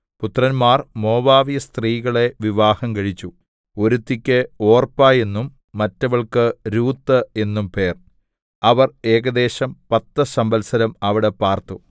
പുത്രന്മാർ മോവാബ്യസ്ത്രീകളെ വിവാഹം കഴിച്ചു ഒരുത്തിക്കു ഒർപ്പാ എന്നും മറ്റവൾക്കു രൂത്ത് എന്നും പേർ അവർ ഏകദേശം പത്തു സംവത്സരം അവിടെ പാർത്തു